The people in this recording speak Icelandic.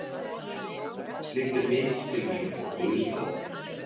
Slíkt er mikil tilviljun og guðslán.